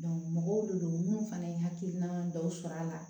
mɔgɔw le don munnu fana ye hakilina dɔw sɔrɔ a la